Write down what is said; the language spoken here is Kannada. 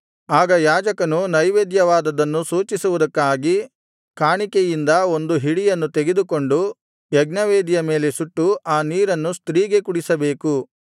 ಆಗ ಯಾಜಕನು ನೈವೇದ್ಯವಾದದ್ದನ್ನು ಸೂಚಿಸುವುದಕ್ಕಾಗಿ ಕಾಣಿಕೆಯಿಂದ ಒಂದು ಹಿಡಿಯನ್ನು ತೆಗೆದುಕೊಂಡು ಯಜ್ಞವೇದಿಯ ಮೇಲೆ ಸುಟ್ಟು ಆ ನೀರನ್ನು ಸ್ತ್ರೀಗೆ ಕುಡಿಸಬೇಕು